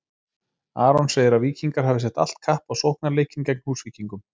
Aron segir að Víkingar hafi sett allt kapp á sóknarleikinn gegn Húsvíkingum.